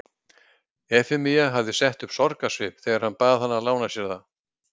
Efemía hafði sett upp sorgarsvip þegar hann bað hana að lána sér það.